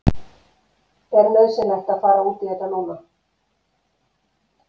Er nauðsynlegt að fara út í þetta núna?